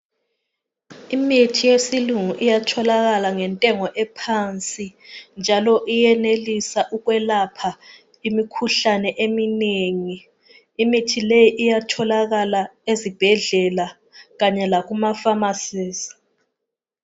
Imithi yesilungu iyatholakala ngentengo ephansi njalo iyenelisa ukwelapha imikhuhlane eminengi imithi le iyatholakala ezibhedlela kanye lasemafamasi.